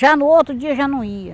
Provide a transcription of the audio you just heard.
Já no outro dia, já não ia.